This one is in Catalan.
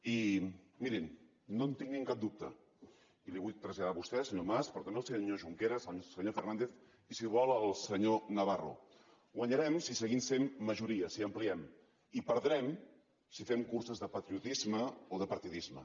i mirin no en tinguin cap dubte i li ho vull traslladar a vostè senyor mas però també al senyor junqueras al senyor fernàndez i si ho vol al senyor navarro guanyarem si seguim sent majoria si ampliem i perdrem si fem curses de patriotisme o de partidisme